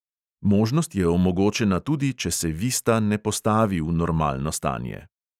Možnost je omogočena tudi, če se vista ne postavi v normalno stanje.